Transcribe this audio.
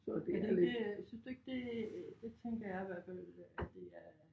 Er det ikke synes du ikke det det tænker jeg i hvert fald at det er